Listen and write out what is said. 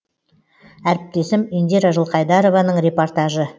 әріптесім индира жылқайдарованың репортажы